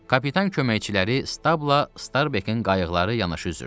Kapitan köməkçiləri Stabla Starbekin qayıqları yanaşı üzdü.